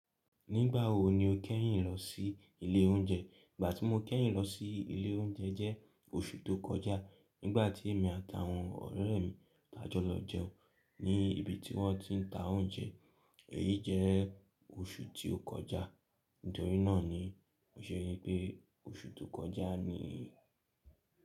Nígbà wo ni o kẹ́yìn lọ sí ilé oúnjẹ? Ìgbà tí mo kẹ́yìn lọ sí ilé oúnjẹ jẹ́ oṣù tó kọjá. Nígbà tí èmi àtàwọn ọ̀rẹ́ mi tájọ́ lọ jẹun ní ibi tí wọ́n ti ń ta oúnjẹ. Èyí jẹ́ oṣù tí ó kọjá. Torí náà ni, mó ṣe ni pé oṣù tó kọjá ni.